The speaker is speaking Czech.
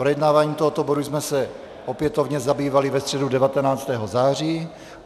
Projednáváním tohoto bodu jsme se opětovně zabývali ve středu 19. září.